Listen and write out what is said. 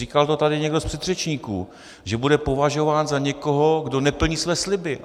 Říkal to tady někdo z předřečníků, že bude považován za někoho, kdo neplní své sliby.